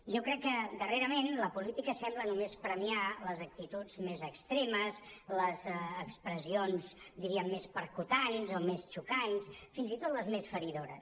jo crec que darrerament la política sembla només premiar les actituds més extre·mes les expressions diríem més percussores o més xocants fins i tot les més feri·dores